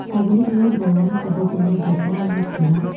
ছাগলীবোৰে বৰণ ক'ব গলে বগা আৰু ভুলা।